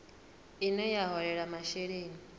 ine ya vha holela masheleni